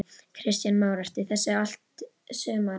Kristján Már: Ertu í þessu allt sumarið?